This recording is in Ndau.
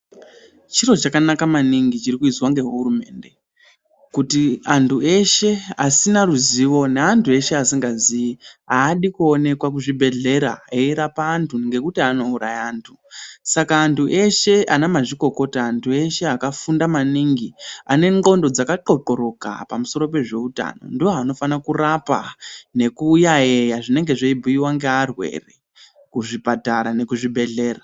Chiro chakanaka maningi chiri kuizwa ngehurumende kuti andu eshe asina ruzivo nde andu eshe asingazivi haadi kuoneka kuchibhedhlera eyirapa wandu ngokuti anouraya andu saka andu eshe ana mazvikokota andu eshe akafunda maningi ane ngqondo dzakaqhoqhoroka pamusoro pezveutano ndiwo anofana kurapa nekuyayeya zvinenge zveyibhuyiwa ngewarwere kuzvipatara nekuzvibhedhlera.